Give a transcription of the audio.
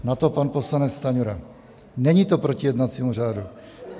Na to pan poslanec Stanjura: "Není to proti jednacímu řádu."